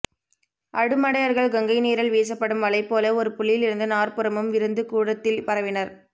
அடுமடையர்கள் கங்கைநீரில் வீசப்படும் வலைபோல ஒருபுள்ளியிலிருந்து நாற்புறமும் விரிந்து கூடத்தில் பரவினர்